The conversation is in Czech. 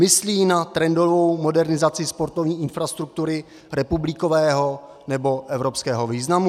Myslí na trendovou modernizaci sportovní infrastruktury republikového nebo evropského významu?